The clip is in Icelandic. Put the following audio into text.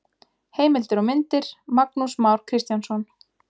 Heimildir og myndir: Magnús Már Kristjánsson.